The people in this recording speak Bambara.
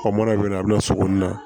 Ɔ mana bɛ yen nɔ a bɛ na sokɔni na